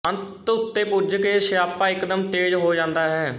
ਅੰਤ ਉਤੇ ਪੁੱਜ ਕੇ ਸਿਆਪਾ ਇਕਦਮ ਤੇਜ਼ ਹੋ ਜਾਂਦਾ ਹੈ